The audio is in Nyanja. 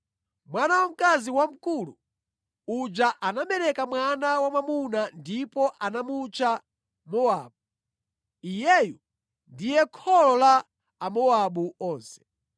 Mwana wamkazi wamkulu uja anabereka mwana wa mwamuna ndipo anamutcha Mowabu. Iyeyo ndiye kholo la Amowabu onse.